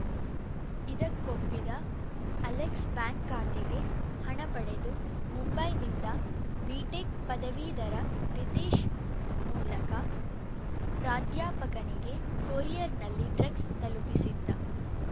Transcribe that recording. ಇದಕ್ಕೊಪ್ಪಿದ Alex bank ಖಾತೆಗೆ ಹಣ ಪಡೆದು ಮುಂಬೈನಿಂದ ಬಿಟೆಕ್‌ ಪದವೀಧರ ರಿತೇಶ್‌ ಮೂಲಕ ಪ್ರಾಧ್ಯಾಪಕನಿಗೆ ಕೊರಿಯರ್‌ನಲ್ಲಿ ಡ್ರಗ್ಸ್‌ ತಲುಪಿಸಿದ್ದ